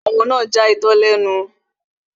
Ọmọ náà ja itọ́ lẹ́nu